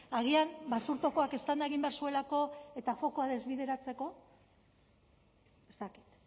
agian basurtokoak eztanda egin behar zuelako eta fokua desbideratzeko ez dakit